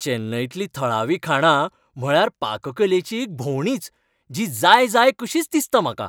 चेन्नईतलीं थळावीं खाणां म्हळ्यार पाककलेची एक भोंवडीच जी जाय जाय कशीच दिसता म्हाका.